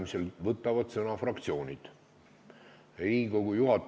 Minu küsimus ongi: kas me nii karmide sanktsioonidega ikka motiveerime inimesi paremini keelt omandama?